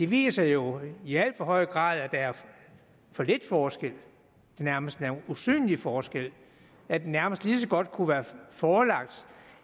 viser jo i alt for høj grad at der er for lidt forskel en nærmest usynlig forskel at det nærmest lige så godt kunne være forelagt